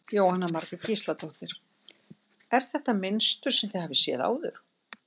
Jóhanna Margrét Gísladóttir: Er þetta mynstur sem þið hafið séð áður?